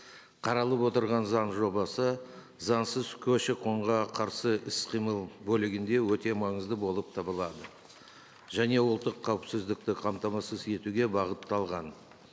қаралып отырған заң жобасы заңсыз көші қонға қарсы іс қимыл бөлігінде өте маңызды болып табылады және ұлттық қауіпсіздікті қамтамасыз етуге бағытталған